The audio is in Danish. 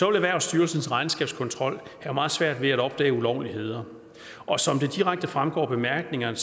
erhvervsstyrelsens regnskabskontrol have meget svært ved at opdage ulovligheder og som det direkte fremgår af bemærkningerne